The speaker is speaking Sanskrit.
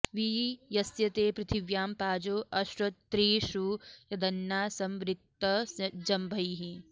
वि यस्य ते पृथिव्यां पाजो अश्रेत्तृषु यदन्ना समवृक्त जम्भैः